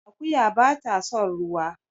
Akuya bata son ruwa